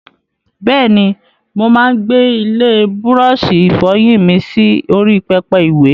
Bẹ́ẹ̀ni, mo máa ń gbé ilé búrọ́ọ̀ṣì ìfọyín mi sí orí pẹpẹ ìwè.